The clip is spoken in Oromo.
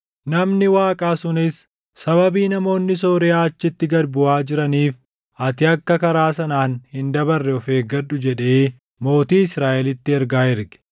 Namni Waaqaa sunis, “Sababii namoonni Sooriyaa achitti gad buʼaa jiraniif ati akka karaa sanaan hin dabarre of eeggadhu” jedhee mootii Israaʼelitti ergaa erge.